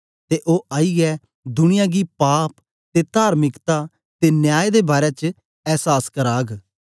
ते ओ आईयै दुनिया गी पाप ते तार्मिकता ते न्याय दे बारै च ऐसास कराग